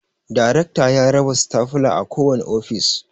Darekta ya raba stafula a kowane ofis